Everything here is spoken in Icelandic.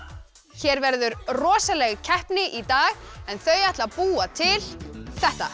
hér verður rosaleg keppni í dag en þau ætla að búa til þetta